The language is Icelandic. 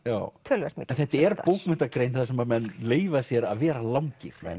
töluvert mikið þetta er bókmenntagrein þar sem menn leyfa sér að vera langir